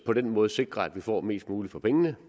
på den måde sikrer at vi får mest muligt for pengene